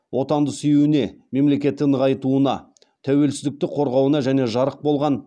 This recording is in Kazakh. отанды сүюіне мемлекетті нығайтуына тәуелсіздікті қорғауына және жарық болған